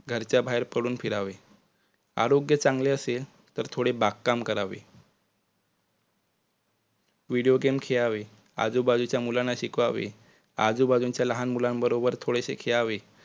घरच्या बाहेरपडुन फिरावे. आरोग्य चांगले असेल तर थोडे बागकाम करावे. video game खेळावे आजूबाजूच्या मुलांना शिकवावे. आजूबाजूच्या लहान मुलांबरोबर थोडेसे खेळावे